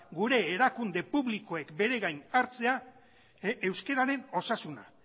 gure erakunde publikoek beregain hartzea euskararen osasuna